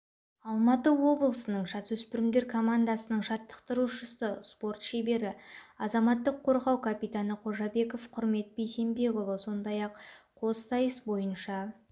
алматы облысының жасөспірімдер командасының жаттықтырушысы спорт шебері азаматтық қорғау капитаны қожабеков құрмет бейсембекұлы сондай-ақ қоссайыс бойынша